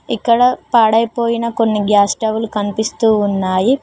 ఇక్కడ పడైపోయిన కొన్ని గ్యాస్ స్టవ్ లు కనిపిస్తూ ఉన్నాయి.